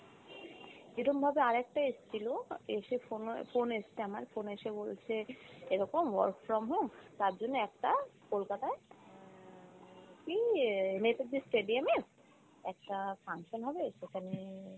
এরমভাবে আরেকটা এসছিল এসে pho~ phone এসছে আমার phone এসে বলছে এরকম work from home তার জন্য একটা কলকাতায় এর ইয়ে নেতাজি stadium এ একটা function হবে সেখানে